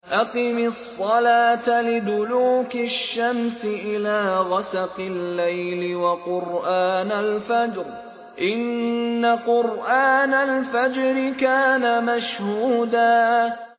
أَقِمِ الصَّلَاةَ لِدُلُوكِ الشَّمْسِ إِلَىٰ غَسَقِ اللَّيْلِ وَقُرْآنَ الْفَجْرِ ۖ إِنَّ قُرْآنَ الْفَجْرِ كَانَ مَشْهُودًا